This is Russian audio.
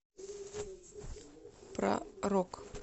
про рок